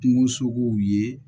Kungosogow ye